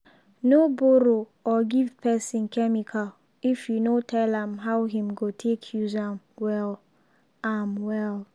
no borrow or give person chemical if you no tell am how him go take use am well. am well.